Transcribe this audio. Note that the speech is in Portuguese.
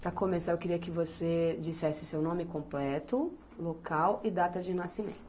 Para começar, eu queria que você dissesse seu nome completo, local e data de nascimento.